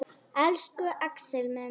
Elsku Axel minn.